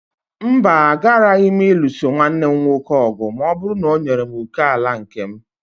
Mba, agaraghị m ịlụso nwanne m nwoke ọgụ ma ọ bụrụ na o nyere m òkè ala nke m